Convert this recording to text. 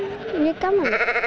gaman